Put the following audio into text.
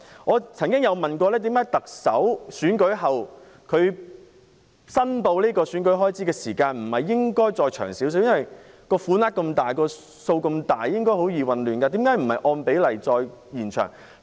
我曾經詢問當局為何特首選舉後申報選舉開支的日子不可以延長，由於所涉款額龐大，容易造成混亂，當局何以不能按比例延長期限。